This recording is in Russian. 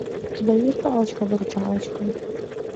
у тебя есть палочка выручалочка